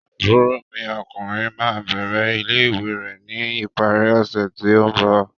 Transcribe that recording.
Àbúrò mi ọkùnrin ma bẹrẹ ilé-ìwé ni ìparí ọsẹ ti o mbọ.